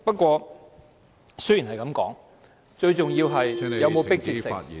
話雖如此，最重要的是，有否迫切性......